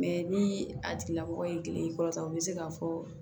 ni a tigilamɔgɔ ye kile kɔrɔta u bɛ se k'a fɔ